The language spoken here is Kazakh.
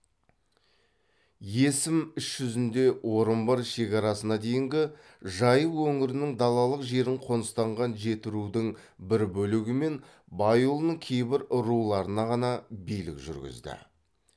есім іс жүзінде орынбор шекарасына дейінгі жайық өңірінің далалық жерін қоныстанған жетірудың бір бөлігі мен байұлының кейбір руларына ғана билік жүргізді